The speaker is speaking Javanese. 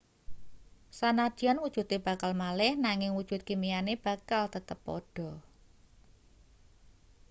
sanadyan wujude bakal malih nanging wujud kimiane bakal tetep padha